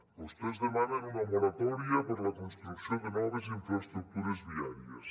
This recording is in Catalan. vostès demanen una moratòria per a la construcció de noves infraestructures viàries